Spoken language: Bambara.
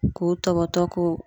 K'o tɔbɔtɔ k'o